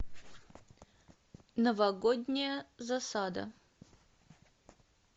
новогодняя засада